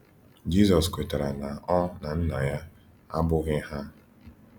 Jizọs kwetara na ọ na Nna ya abụghị hà.